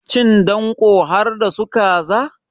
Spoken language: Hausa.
Cin danko harda su kaza.